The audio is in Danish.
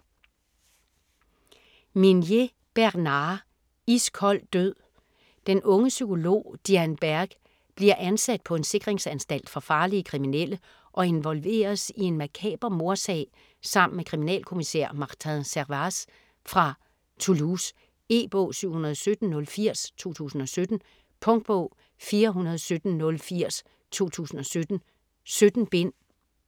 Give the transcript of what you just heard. Minier, Bernard: Iskold død Den unge psykolog Diane Berg bliver ansat på en sikringsanstalt for farlige kriminelle og involveres i en makaber mordsag sammen med kriminalkommissær Martin Servaz fra Toulouse. E-bog 717080 2017. Punktbog 417080 2017. 17 bind.